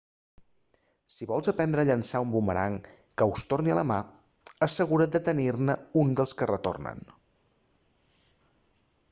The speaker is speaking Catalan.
si vols aprendre a llançar un bumerang que us torni a la mà assegura't de tenir-ne un dels que retornen